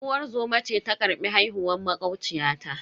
Unguwar zoma ce ta karbi haihuwar makociyata.